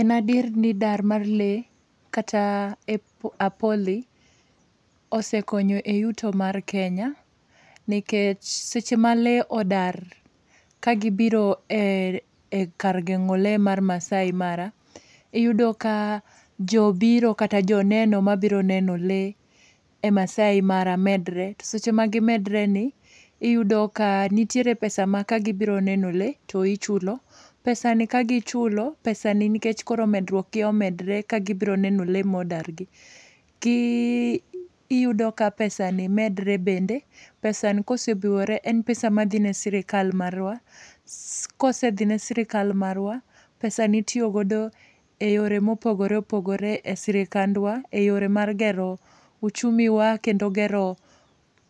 En adier ni dar mar lee, kata apoli, osekonyo e yuto mar Kenya, nikech seche ma lee odar, ka gibiro e e kar geng'o lee mar Maasai Mara, iyudo ka jo biro kata joneno mabiro neno lee e Maasai Mara medre. To seche ma gimedre ni, iyudo ka, nitiere pesa ma ka gibiro neno lee, to ichulo. Pesani ka gichulo, pesani nikech koro medruokgi omedre ka gibiro neno lee modargi. Ki iyudo ka pesani medre bende, pesani kosebiwore en pesa madhine sirikal marwa, kosedhine sirkal marwa, pesani itiyo godo e yore mopogore opogore e sirikandwa. E yore mar gero, uchumi wa, kendo gero,